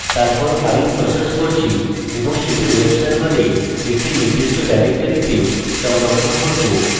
তারপর file process করছি এবং সেটি web server একটি নির্দিষ্ট ডিরেক্টরিতে সংরক্ষণ করব